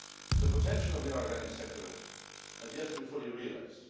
The potential of the organic sector has yet to be fully realised.